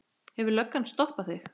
Hefur löggan stoppað þig?